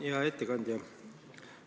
Hea ettekandja!